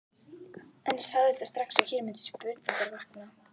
En ég sá auðvitað strax, að hér mundu spurningar vakna.